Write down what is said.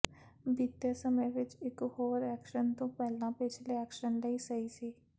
ਬੀਤੇ ਸਮੇਂ ਵਿਚ ਇਕ ਹੋਰ ਐਕਸ਼ਨ ਤੋਂ ਪਹਿਲਾਂ ਪਿਛਲੇ ਐਕਸ਼ਨ ਲਈ ਸਹੀ ਸੀ